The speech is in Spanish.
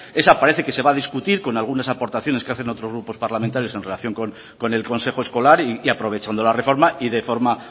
esa parece que se va a discutir con algunas aportaciones que hacen otros grupos parlamentarios en relación con el consejo escolar y aprovechando la reforma y de forma